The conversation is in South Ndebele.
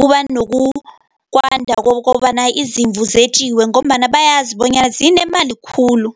kuba nokwanda kokobana izimvu zetjiwe, ngombana bayazi bonyana zinemali khulu.